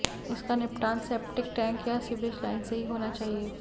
इसका निपटान septic tank या सीवरेज लाइन से ही होना चाहिए